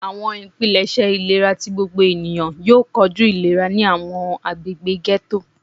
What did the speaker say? Awọn ipilẹṣẹ ilera ti gbogbo eniyan yoo koju ilera ni awọn agbegbe ghetto.